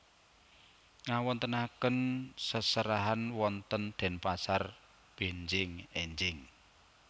Ngawontenaken seserahan wonten Denpasar benjing enjing